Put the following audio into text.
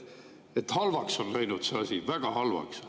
Halvaks on läinud see asi, väga halvaks.